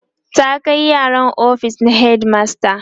ta Kai yaron ofis na headmaster